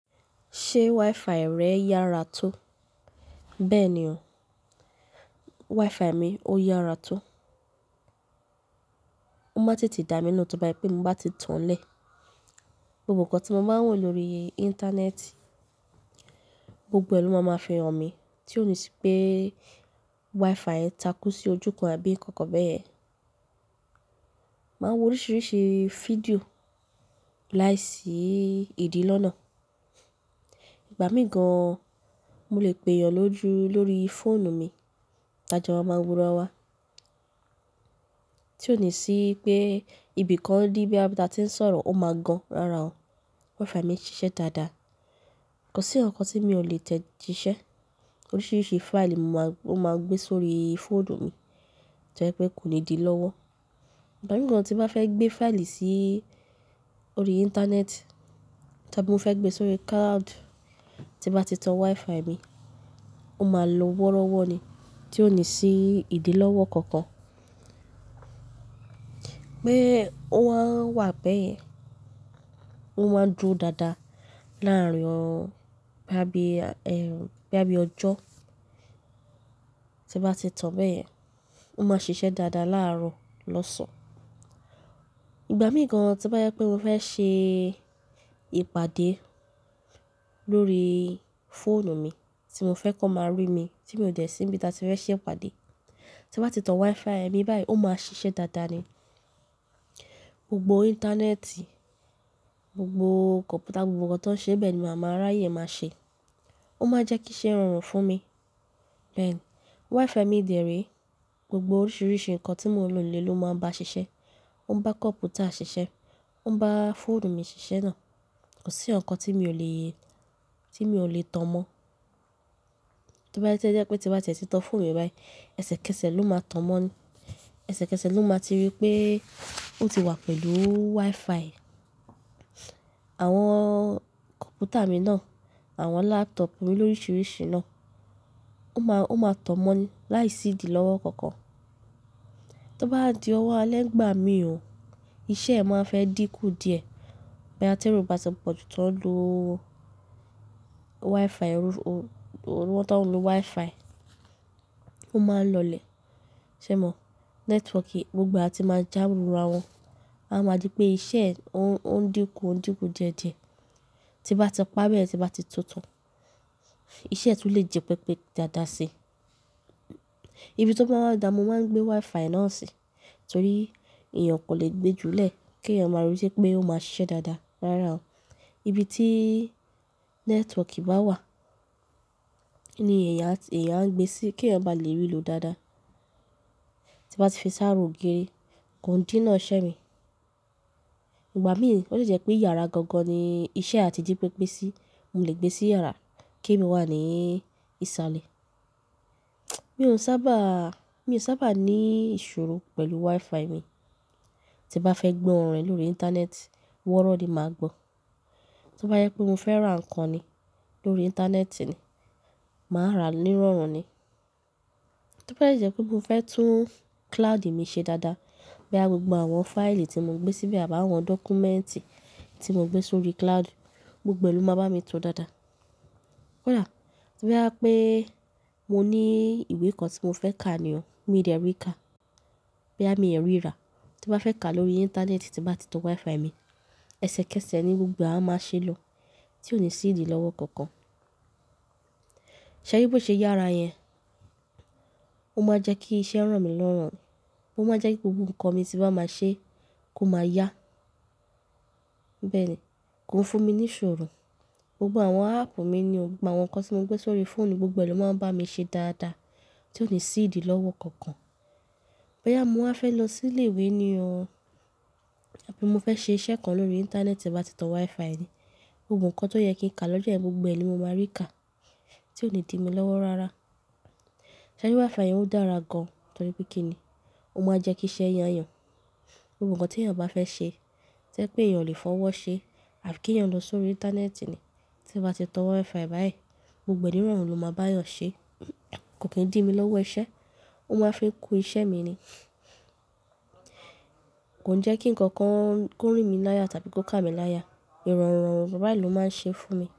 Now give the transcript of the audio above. Ṣé WiFi rẹ yára tó? Bẹ́ẹ̀ ni o, WiFi mi ó yára tó. Mo máa ń tètè dà na le tí ba je wípé mo bá ti tanlẹ̀. Gbogbo nǹkan tí mo máa ń wò lórí íńtánẹ́ẹ̀tì, gbogbo è ni wo máa fi hàn mí tí ò ní sí pé WiFi ń takú sí ojúkan àbí nǹkan kan bẹ́ yen. Mo ń wo oríṣiríṣi fídíò láìsí ìdí lọ́nà. Ìgbà mí gan-an, mo lè pè èèyàn lójú lórí fóònù mi tájo máa ma wora wá, tí ò ní sí pé ibi kan di boya bí tí a ti ń sọ̀rọ̀ ó máa gan rára ò. WiFi mi ń ṣiṣẹ́ dáadáa. Kò sí ǹkàn kan tí mi o lè tẹ jíṣẹ́. Oríṣiríṣi fáìlì mo máa n gbé sórí fóònù mi to je pé kò ní dí lọ́wọ́. Ìgbà mì gan tí bá fẹ́ gbé fáìlì sí orí íńtánẹ́ẹ̀tì tàbí mo fẹ́ gbé sórí cloud tí bá ti tan WiFi mi, ó máa lo wọ́rọ́wọ́ ni tí ò ní sí ìdí lọ́wọ́ kankan. Bẹ́ẹ̀, ó máa ń wà bẹ́ẹ̀, ó máa ń dúró dáadáa láàárin bo ya bí ọjọ́. Tí bá ti tan bẹyẹn, ó máa ṣiṣẹ́ dáadáa láàárọ̀, lọ́sàn-án. Ìgbà míì gan tí n bá jẹ pé mo fẹ́ ṣe ìpàdé lórí fóònù mi tí mo fẹ́ kó máa rí mi tí mi ò dẹ sí nibi tí a ti fẹ́ ṣe ìpàdé tí n bá ti tan WiFi mi báyìí ó máa ṣiṣẹ́ dáadáa ni. Gbogbo. Íńtánẹ́ẹ̀tì, gbogbo kọ̀ǹpútà, gbogbo nǹkan tó ń ṣe bẹ́ẹ̀ ni màá máa r'àyè máa ṣe. Ó máa n jẹ́ kí iṣẹ́ rọrùn fún mi. Bẹ́ẹ̀ ni, WiFi mi dẹ̀ re, gbogbo oríṣiríṣi nǹkan tí mò ń lò ló máa ń bá ṣiṣẹ́. Ó ń bá kọ̀ǹpútà ṣiṣẹ́, ó ń bá fóònù mi ṣiṣẹ́ náà. Kò sí ikankan tí m io lè, tí m io lè tan mọ́. Tí ó bá jẹ pé tí n ba ti ẹ ti tan fóònù mi báyìí, ẹsẹ kẹsẹ̀ ló máa tan mọ́ ni. Ẹsẹ kẹsẹ̀ ló máa ti ri pé ó ti wà pẹ̀lú WiFi. Àwọn kọ̀ǹpútà mi náà, àwọn lápútọ̀pù mi oríṣiríṣi náà ó máa tàn mọ́ ni láìsí ìdí lọ́wọ́ kankan. To bá di owo alẹ́ nígbà mi o, iṣẹ́ e ma fe di ku díẹ̀, bo ya ti ero ba ti poju to n lo Wi-Fi, ero to n lo Wi-Fi o ma n lo le. Ṣé ẹ mọ̀? Nẹ́tíwọ̀ọ̀kì gbogbo àti máa já lu ara wọn, a máa jẹ́ pé iṣẹ́ ó ń dínkù ó ń dínkù díẹ̀ díẹ̀ tí n bá ti pa bẹyẹn tí n bá ti tun tan iṣẹ́ tún le jẹ pepe dáadáa sí. Ibi tí ó bá ń dà ni mo máa ń gbé WiFi náà sí torí èèyàn kò lè gbé júlẹ̀ kí èèyàn máa reti pé ó máa ṣiṣẹ́ dáadáa rara o. Ibi tí nẹ́tíwọ̀ọ̀kì bá wà ní eeyan a gbé sí kí èèyàn bá lè rí i lò dáadáa. Tí n bá ti fi s'ara ogiri, kò ń dí náà iṣẹ́ mi. Ìgbà míì ó lè jẹ́ pé yàrá gangan ni iṣẹ́ á ti j pepe sí. Mo lè gbé sí yàrá kí èmi wà ní ìsàlẹ̀. Mi ò sábà mi ò sábà ní ìṣòro pẹ̀lú WiFi mi. Tí n bá fẹ́ gbọ́ orin lórí íńtánẹ́ẹ̀tì, wọọrọ ni màá gbọ́. Tí ó bá jẹ pé mo fẹ́ rà nǹkan ni lórí íńtánẹ́ẹ̀tì ni, màá rà nírọ̀rùn ni. Tí ó bá jẹ pé mo fẹ́ tún cloud mi ṣe dáadáa boya gbogbo àwọn fáìlì tí mo gbé síbẹ̀ àbí àwọn dọ́kúmẹ́ǹtì tí mo gbé sórí cloud, gbogbo ẹ lò máa bá mi to dáadáa. Kódà, tí o ba jẹ pé mo ní ìwé kan tí mo fẹ́ ka ni o, mi ò dẹ rí ka. Boyami o rí rà, tí mo bá fẹ́ ka lórí íńtánẹ́ẹ̀tì tí n bá ti tan WiFi mi, ẹsẹ kẹsẹ̀ ni gbogbo àá máa ṣe lọ tí ò ní sí ìdí lọ́wọ́ kankan. Ṣẹ̀ ri bí ó ṣe yára yẹn, ó máa n jẹ́ kí iṣẹ́ ràn mí lọ́rùn ni. Ó máa jẹ́ kí gbogbo nǹkan mi tí bá máa ṣe kó máa yá. Bẹ́ẹ̀ ni, kò ń fún mi ní ìṣòro. Gbogbo àwọn áàpù mi ni o, gbogbo àwọn nǹkan tí mo gbé s'órí fóònù gbogbo ẹ lò máa ń bá mi ṣe dáadáa tí ò ní sí ìdí lọ́wọ́ kankan. Boya mo wa fẹ́ lọ sí ilé ìwé ni o àbí mo fẹ́ ṣe iṣẹ́ kan lórí íńtánẹ́ẹ̀tì tí n bá ti tan WiFi mi, gbogbo nǹkan tó yẹ kí n ka lọ́jọ́ yẹn gbogbo ẹ ni mo máa rí ka tí ò ní dí mi lọ́wọ́ rára. Ṣẹ̀ ri WiFi yẹn ó dára gan-an torí pé kí ni? Ó máa ń jẹ́ kí iṣẹ́ yá eeyàn. Gbogbo nǹkan tí èèyàn bá fẹ́ ṣe to jẹ́ pé èèyàn le fọwọ́ ṣe afi kí èèyàn lọ sórí íńtánẹ́ẹ̀tì ni tí bá ti tan WiFi báyìí, gbogbo nírọ̀rùn ló máa bá èèyàn ṣe. Kò kì í n dí mi lọ́wọ́ iṣẹ́, ó máa fi kú iṣẹ́ mi ni. Kò ń jẹ́ kí nǹkankan kó rìn mí láya tàbí kó ká mi láya. Ìrọ̀rùn bayi ló máa ń ṣe fún mi.